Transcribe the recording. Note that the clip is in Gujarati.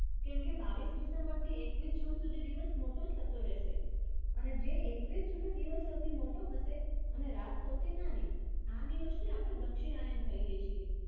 કેમકે બાવીસ december થી એકવીસ june સુધી દિવસ મોટો થતો રહેશે અને જે એકવીસ june દિવસ સૌથી મોટો હશે અને રાત સૌથી નાની. આ દિવસને આપણે દક્ષિણ આયન કહીએ છીએ.